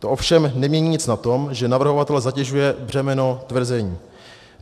To ovšem nemění nic na tom, že navrhovatele zatěžuje břemeno tvrzení.